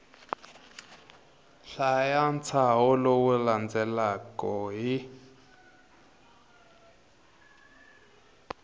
hlaya ntshaho lowu landzelaka hi